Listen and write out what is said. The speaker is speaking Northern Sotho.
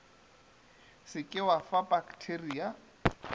se ke wa fa pakteria